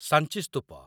Sanchi ସ୍ତୂପ